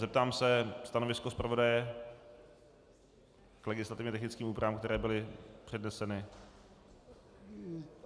Zeptám se, stanovisko zpravodaje k legislativně technickým úpravám, které byly předneseny.